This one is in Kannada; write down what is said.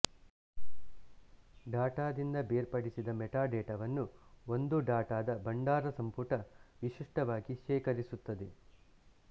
ಡಾಟಾದಿಂದ ಬೇರ್ಪಡಿಸಿದ ಮೆಟಾಡೇಟಾವನ್ನು ಒಂದು ಡಾಟಾದ ಭಂಡಾರಸಂಪುಟ ವಿಶಿಷ್ಟವಾಗಿ ಶೇಖರಿಸುತ್ತದೆ